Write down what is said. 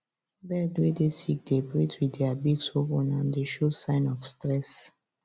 bird way dey sick dey breath with their beaks open and dey show sign of stress